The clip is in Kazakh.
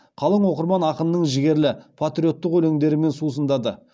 қалың оқырман ақынның жігерлі патриоттық өлеңдерімен сусындады